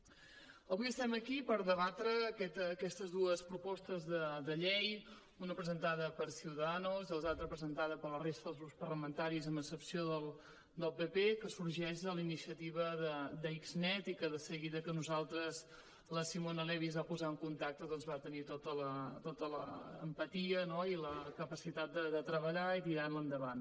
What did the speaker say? avui estem aquí per debatre aquestes dues propostes de llei una presentada per ciudadanos i l’altra presentada per la resta dels grups parlamentaris amb excepció del pp que sorgeix de la iniciativa d’xnet i que amb nosaltres de seguida que la simona levi es va posar en contacte doncs va tenir tota l’empatia i la capacitat de treballar i tirar la endavant